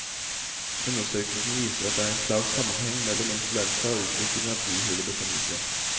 Undersøkelsen viser at det er en klar sammenheng mellom influensa og utvikling av bihulebetennelse.